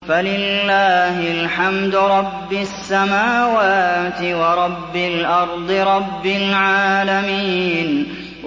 فَلِلَّهِ الْحَمْدُ رَبِّ السَّمَاوَاتِ وَرَبِّ الْأَرْضِ رَبِّ الْعَالَمِينَ